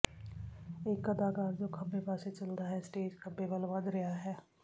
ਇਕ ਅਦਾਕਾਰ ਜੋ ਖੱਬੇ ਪਾਸੇ ਚਲਦਾ ਹੈ ਸਟੇਜ ਖੱਬੇ ਵੱਲ ਵਧ ਰਿਹਾ ਹੈ